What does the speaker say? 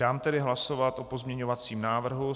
Dám tedy hlasovat o pozměňovacím návrhu.